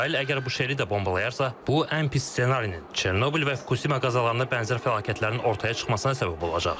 İsrail əgər Buşeri də bombalayarsa, bu ən pis ssenarinin, Çernobıl və Fukuşima qəzalarına bənzər fəlakətlərin ortaya çıxmasına səbəb olacaq.